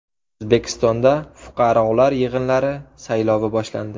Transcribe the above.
O‘zbekistonda fuqarolar yig‘inlari saylovi boshlandi.